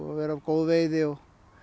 að vera góð veiði og